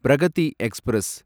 Pragati express